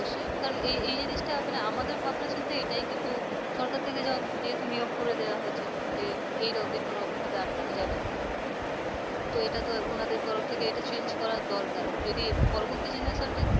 অবশ্যই এই জিনিসটা আমাদের ভাবনাচিন্তা এটাই কিন্তু সরকার থেকে যেহেতু নিয়ম করে দেওয়া হয়েছে eight অব্দি কোনরকম ভাবে আটকানো যাবে না তো এটা তো ওনাদের তরফ থেকে এটা change করা দরকার। যদি পরবর্তী generation টা একটু